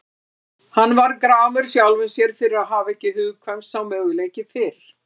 Hann varð gramur sjálfum sér fyrir að hafa ekki hugkvæmst sá möguleiki fyrr.